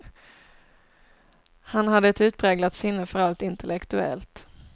Han hade ett utpräglat sinne för allt intellektuellt.